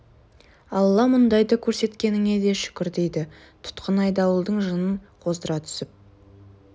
алла мұндайды көрсеткеніңе де шүкір дейді тұтқын айдауылдың жынын қоздыра түсіп